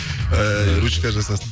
ііі ручка жасасын